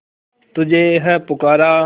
तुझे है पुकारा